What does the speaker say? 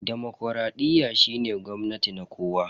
demokradiyyar shine gwamnati na kowa.